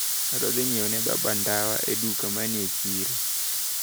Adwaro dhi nyiewo ne baba ndawa e duka manie chiro.